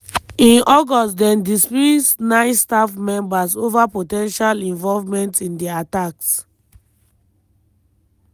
in august dem dismiss nine staff members ova po ten tial involvement in di attacks.